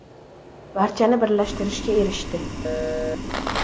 Barchani birlashtirishga erishdi.